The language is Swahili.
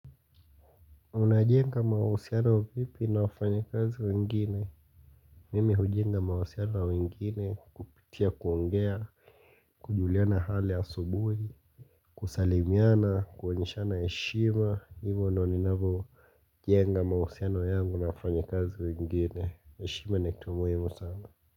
Unajenga mahusiano vipi na wafanyikazi wengine Mimi hujenga mahusiano wa wengine kupitia kuongea kujuliana hali asubuhi kusalimiana kuoneshana heshima hivyo ndio ninavo jenga mahusiano yangu na wafanyikazi wengine heshima ni kitu muhimu sana.